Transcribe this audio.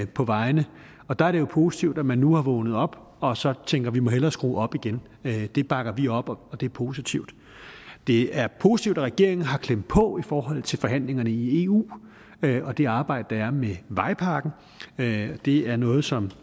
på vejene og der er det jo positivt at man nu er vågnet op og så tænker vi må hellere skrue op igen det bakker vi op om og det er positivt det er positivt at regeringen har klemt på i forhold til forhandlingerne i eu og det arbejde der er med vejpakken det er noget som